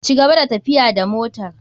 Cigaba da tafiya da motar.